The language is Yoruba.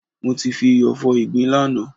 Mo fi iyọ̀ fọ ìgbín lánàá.